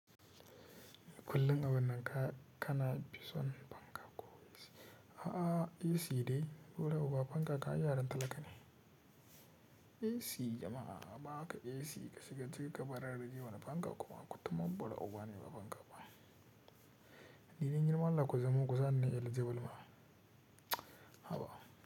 Kullin abun nan ka, kana bison fanka ko, a'a AC dai, bura uba fanka kan ai yaran talaka ne. AC jama'a a ba ka AC ka shiga ciki ka bara raje wane fanka kuma, kutumar bura uba ne ba fanka ba. Ni dan girman allah ku zamo kusani nai eligible ma. Haba.